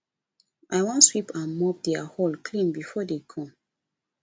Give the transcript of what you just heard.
i wan sweep and mop their hall clean before dey come